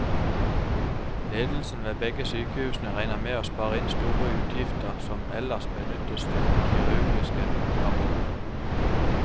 Ledelsen ved begge sykehusene regner med å spare inn store utgifter som ellers benyttes til kirurgiske aborter.